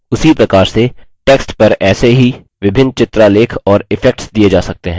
उसी प्रकार से text पर ऐसे ही विभिन्न चित्रालेख और effects दिये जा सकते हैं